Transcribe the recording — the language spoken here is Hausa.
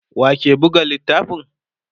wake Buga littafin?